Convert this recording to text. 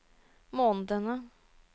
månedene